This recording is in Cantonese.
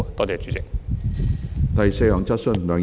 第四項質詢。